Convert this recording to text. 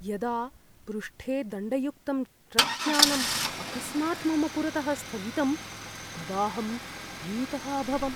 यदा पृष्ठे दण्डयुक्तं ट्रक्यानम् अकस्मात् मम पुरतः स्थगितं, तदाहं भीतः अभवम्।